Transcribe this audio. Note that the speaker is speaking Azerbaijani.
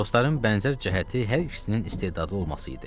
Dostların bənzər cəhəti hər ikisinin istedadlı olması idi.